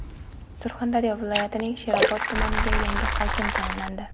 Surxondaryo viloyatining Sherobod tumaniga yangi hokim tayinlandi.